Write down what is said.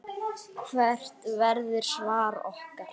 Hvert verður svar okkar?